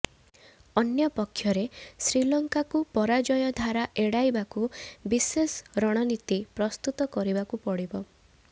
ଅନ୍ୟପକ୍ଷରେ ଶ୍ରୀଲଙ୍କାକୁ ପରାଜୟ ଧାରା ଏଡାଇବାକୁ ବିଶେଷ ରଣନୀତି ପ୍ରସ୍ତୁତ କରିବାକୁ ପଡିବ